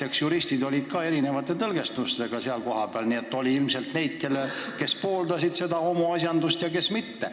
Eks juristide seas ole erinevaid tõlgendusi – on ilmselt neid, kes pooldavad homoasjandust, ja ka neid, kes mitte.